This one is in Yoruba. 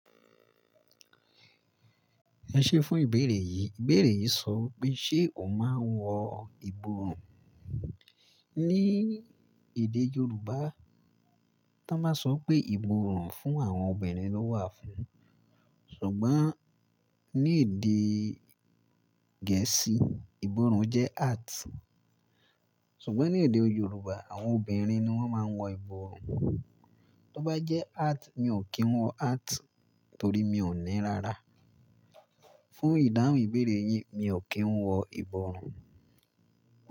Ẹ ṣé fún ìbéèrè yìí, ìbéèrè yìí sọ pé ṣé o máa ń wọ ìborùn? Ní èdè Yorùbá, tí wọ́n bá sọ pé ìborùn fún àwọn obìnrin ló wà fún, ṣùgbọ́n ní èdè Gẹ̀ẹ́sì ìborùn jẹ́ hat. Ṣùgbọ́n ní èdè Yorùbá àwọn obìnrin ni wọ́n máa ń wọ ìborùn. Tí ó bá jẹ́ hat, mi ò kí ń wọ hat torí mi ò ní rárá. Fún ìdáhùn ìbéèrè yìí, mi ò kí ń wọ ìborùn.